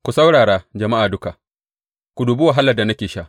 Ku saurara, jama’a duka; ku dubi wahalar da nake sha.